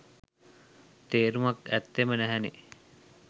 තේරුමක් ඇත්තෙම නැහැනේ.